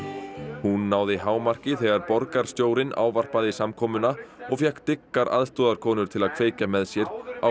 hún hámarki þegar borgarstjórinn ávarpaði samkomuna og fékk dyggar til að kveikja með sér á